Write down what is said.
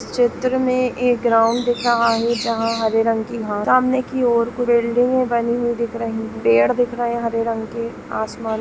चित्र में एक ग्राउंड दिख रहा है जहां हर्रे रंग की सामने की और बिल्डिंग बने दिख रही है पेड़ बने दिख रहे हरे रंग के आसमान --